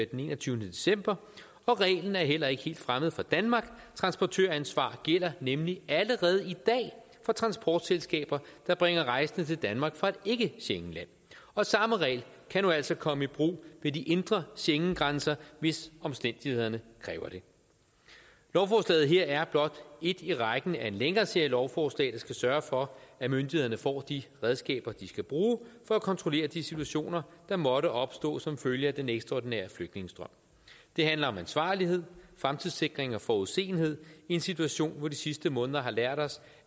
den enogtyvende december og reglen er heller ikke helt fremmed for danmark transportøransvar gælder nemlig allerede i dag for transportselskaber der bringer rejsende til danmark fra et ikke schengenland og samme regel kan nu altså komme i brug ved de indre schengengrænser hvis omstændighederne kræver det lovforslaget her er blot et i rækken af en længere serie lovforslag der skal sørge for at myndighederne får de redskaber de skal bruge for at kontrollere de situationer der måtte opstå som følge af den ekstraordinære flygtningestrøm det handler om ansvarlighed fremtidssikring og forudseenhed i en situation hvor de sidste måneder har lært os